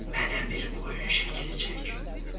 Mənə bir qoyun şəkli çək.